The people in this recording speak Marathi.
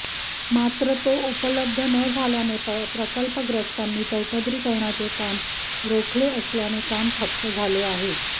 मात्र तो उपलब्ध न झाल्याने प्रकल्पग्रस्तानी चौपदरीकरणाचे काम रोखले असल्याने काम ठप्प झाले आहे